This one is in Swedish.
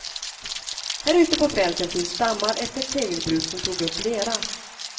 Här ute på fälten finns dammar efter ett tegelbruk som tog upp lera.